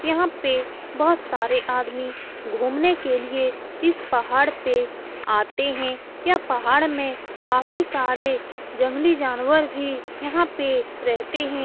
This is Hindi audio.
यहां पे बहुत सारे आदमी घूमने के लिए इस पहाड़ पर आते हैं यह पहाड़ में काफी सारे जंगली जानवर भी यहां पे रहते हैं।